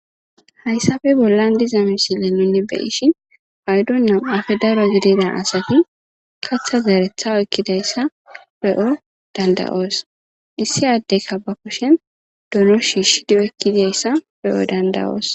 Hayssafe bollan diza misile nunni be ishin paydonnan afe daro gididan asati katha zearetha oykkidayssa be7o dandayoos issi addeyka ba kushen donu shishidi ekkidayssa be'o dandawoos.